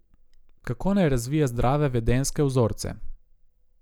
Kako naj razvije zdrave vedenjske vzorce?